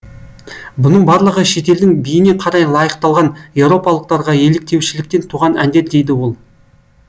бұның барлығы шетелдің биіне қарай лайықталған еуропалықтарға еліктеушіліктен туған әндер дейді ол